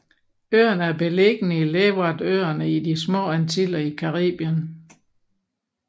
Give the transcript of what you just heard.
Øerne er beliggende i Leewardøerne i De små antiller i Karibien